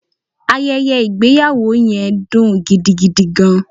Ayeye igbeyawo yen dun gidigidi gan